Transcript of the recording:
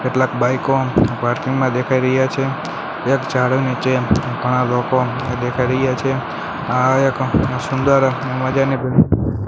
કેટલાક બાઈકો પાર્કિંગ માં દેખાય રહ્યા છે એક ઝાડ નીચે ઘણા લોકો દેખાય રહ્યા છે આ સુંદર મજાની--